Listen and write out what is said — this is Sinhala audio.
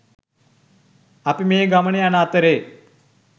අපි මේ ගමන යන අතරේ